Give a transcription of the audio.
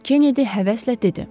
Kenedi həvəslə dedi.